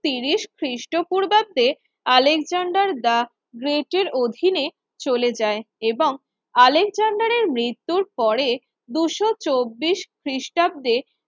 তিরিশ খ্রিস্টপূর্বাতে Alexander the Great এর অধীনে চলে যায় এবং আলেকজান্ডারের মৃত্যুর পরে দুশো চব্বিশ খ্রিস্টাব্দে